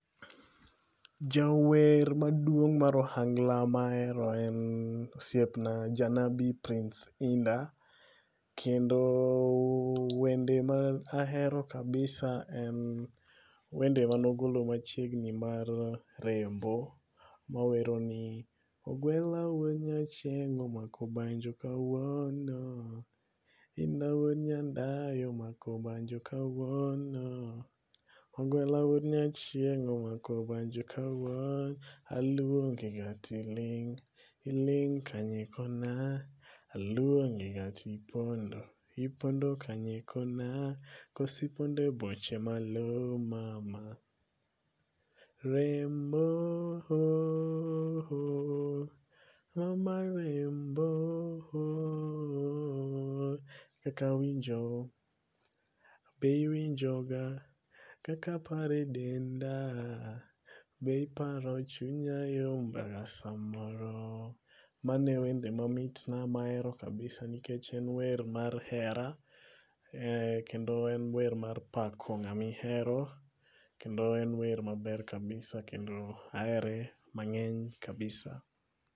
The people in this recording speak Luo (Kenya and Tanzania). Jawer maduong' mar ohangla mahero en osiepna Janabi Prince Inda. Kendo wende ma ahero kabisa en wende manogolo machiegni mar rembo mawero ni ogwela wuo nyachieng' omako banjo kawuono. Inda wuo nyandayo omako banjo kawuono. Ogwela wuod nyachieng' omako banjo kawuono. Aluongi ga ti ling. Iling' kanye kona. Aluongi ga tipondo. Ipondo kanye kona. Kosi pond eboche malo mama. Rembo ho ho. Ram mar rembo oh ho. Kaka winjo. Be iwinjo ga kaka paro e denda. Be iparo chunya ilomba ga samoro. Mano e wende mamit na mahero kabisa nikech en wer mar hera. Kendo en wer mar pako ng'amihero. Kendo en wer maber kabisa. Kendo ahere mang'eny kabisa.